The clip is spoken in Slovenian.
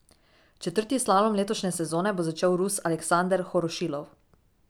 Četrti slalom letošnje sezone bo začel Rus Aleksander Horošilov.